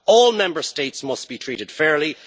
All Member States must be treated fairly.